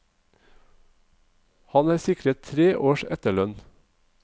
Han er sikret tre års etterlønn.